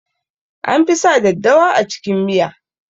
An fi sa daddawa a cikin miya